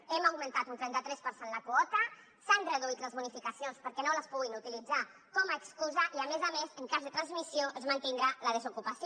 hem augmentat un trenta tres per cent la quota s’han reduït les bonificacions perquè no les puguin utilitzar com a excusa i a més a més en cas de transmissió es mantindrà la desocupació